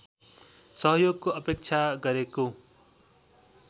सहयोगको अपेक्षा गरेको